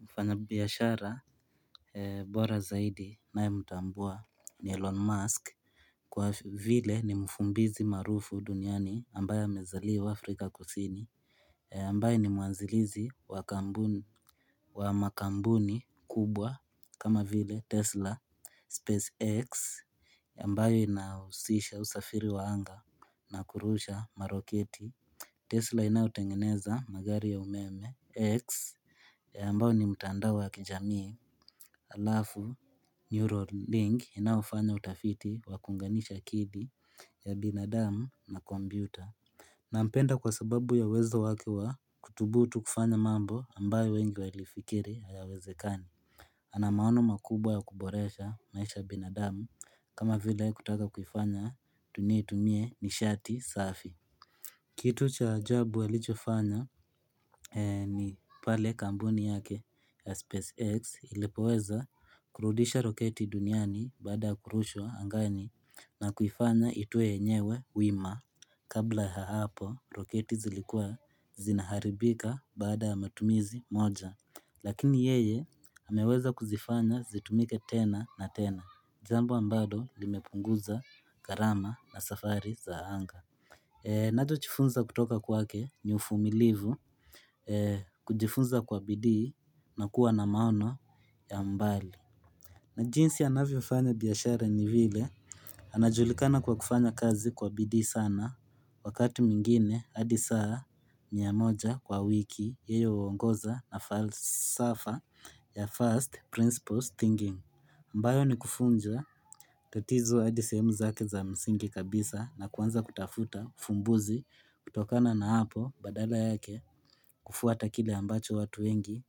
Mfanya biashara bora zaidi ninaw mtambua ni Elon Musk Kwa vile ni mfumbizi marufu duniani ambayo amezaliwa Afrika kusini ambayo ni muanzilizi wa kampu makambuni kubwa kama vile Tesla Space X ambayo inausisha usafiri waanga na kurusha maroketi Tesla ina utengeneza magari ya umeme X ya ambao ni mutandao ya kijamii alafu neural link ina ufanya utafiti wa kunganisha kidi ya binadamu na kompyuta. Na mpenda kwa sababu ya uwezo wakewa kutubutu kufanya mambo ambayo wengi walifikiri hayawezekani. Ana maono makubwa ya kuboresha maisha binadamu kama vile kutaka kufanya tunietumie ni shati safi. Kitu cha ajabu alichofanya ni pale kampuni yake ya SpaceX ilipoweza kurudisha roketi duniani bada kurushwa angani na kuifanya itue yenyewe wima. Kabla ya hapo roketi zilikuwa zinaharibika bada matumizi moja. Lakini yeye ameweza kuzifanya zitumike tena na tena. Jambo ambado limepunguza gharama na safari za anga. Nacho jifunza kutoka kwake ni ufumilivu kujifunza kwa bidii na kuwa na maono ya mbali na jinsi anavyofanya biashara ni vile anajulikana kwa kufanya kazi kwa bidii sana wakati wmingine hadi saa mia moja kwa wiki yeye huongoza na falsafa ya first principles thinking ambayo ni kufunza tatizo hadi sehemu zake za msingi kabisa na kuanza kutafuta fumbuzi kutokana na hapo badala yake kufuata kile ambacho watu wengi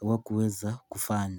hawakuweza kufanya.